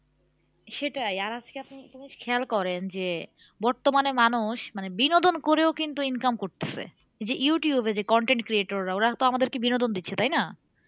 সেটাই আর আজকে আপনি একটা জিনিস খেয়াল করেন যে বর্তমানে মানুষ মানে বিনোদন করেও কিন্তু income করতেছে যে ইউটিউব এ যে content creator রা ওরা তো আমাদেরকে বিনোদন দিচ্ছে তাই না?